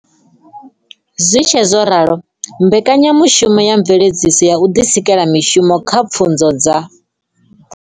Zwi tshe zwo ralo, mbeka nyamushumo ya Mveledziso ya u Ḓisikela Mishumo kha Pfunzo dza